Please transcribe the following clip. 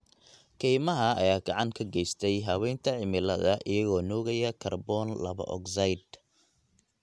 Kaymaha ayaa gacan ka geysta habeynta cimilada iyagoo nuugaya kaarboon laba ogsaydh.